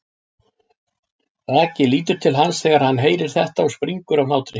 Raggi lítur til hans þegar hann heyrir þetta og springur af hlátri.